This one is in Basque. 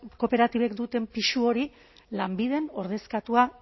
euskal kooperatibek duten pisu hori lanbiden ordezkatua